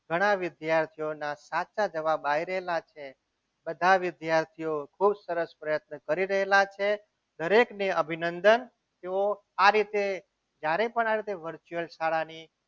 ઘણા વિદ્યાર્થીઓના સાચા જવાબ આવી રહેલા છે બધા વિદ્યાર્થીઓ ખૂબ સરસ પ્રયત્ન કરી રહેલા છે દરેકને અભિનંદન તેઓ આ રીતે જ્યારે પણ આ રીતે virtual શાળાની